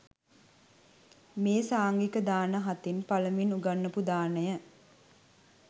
මේ සාංඝික දාන හතෙන් පළමුවෙන් උගන්වපු දානය